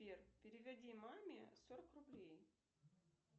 сбер переведи маме сорок рублей